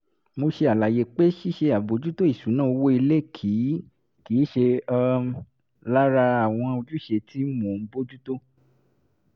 mo ṣe àlàyé pé ṣíṣe àbòjútó ìṣúná owó ilé kì í kì í ṣe um lára àwọn ojúṣe tí mò ń bójú tó